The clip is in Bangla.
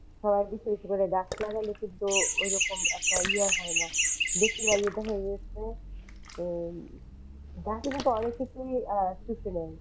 সবাই বেশি বেশি করে গাছ লাগালে কিন্তু ওরকম একটা ইয়ে হয় না বেশিরভাগই দেখা গেছে যে গাছে কিন্তু অনেক কিছুই আহ শুষে নেয়।